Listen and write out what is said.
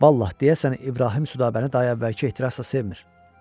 Vallahi deyəsən İbrahim Südabəni daha əvvəlki ehtirasla sevmir.